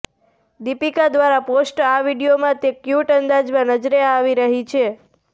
દીપિકા દ્વારા પોસ્ટ આ વીડિયોમાં તે ક્યૂટ અંદાજમાં નજરે આવી રહી છે